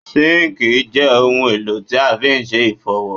Zinc je ohun èlò tí a fi se ifowo